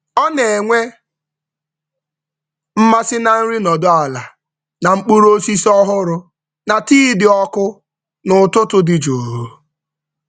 Ọ na-enwe mmasị na nri nọdụ ala na mkpụrụ osisi ọhụrụ na tii dị ọkụ n’ụtụtụ dị jụụ.